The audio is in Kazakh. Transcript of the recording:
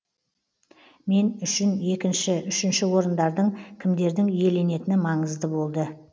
мен үшін екінші үшінші орындардың кімдердің иеленетіні маңызды болды